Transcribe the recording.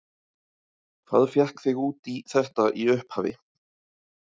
Hvað fékk þig út í þetta í upphafi?